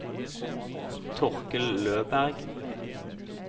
Torkel Løberg